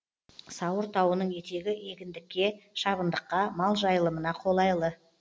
сауыр тауының етегі егіндікке шабындыққа мал жайылымына қолайлы